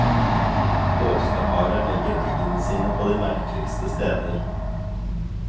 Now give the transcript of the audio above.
Påskeharen legger eggene sine på de merkeligste steder.